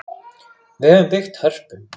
Við höfum byggt Hörpu.